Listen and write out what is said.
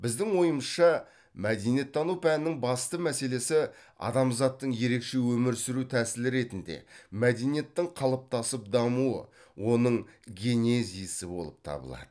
біздің ойымызша мәдениеттану пәнінің басты мәселесі адамзаттың ерекше өмір сүру тәсілі ретінде мәдениеттің қалыптасып дамуы оның генезисі болып табылады